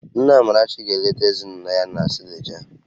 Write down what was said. Nne Amarachi ga-eleta ezinụlọ ya na Suleja